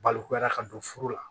Balokoda ka don furu la